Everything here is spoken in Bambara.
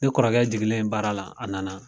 Ne kɔrɔkɛ jiginlen baara la a nana